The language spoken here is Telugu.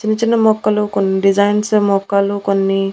చిన్న చిన్న మొక్కలు కొన్ని డిజైన్స్ మొక్కలు కొన్ని--